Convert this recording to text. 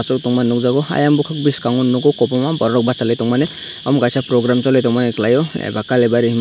aw tong mani nukjago eiang bukak bwskango nugo Kwang bachai Lai tong mani omo kaisa program choli tongo maia kalaio aba kalibai hema.